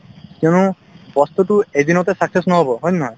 কিয়নো বস্তুতো এদিনতে success নহব হয় নে নহয়